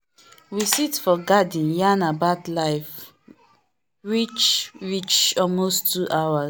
we sit for garden yarn about life reach reach almost two hours.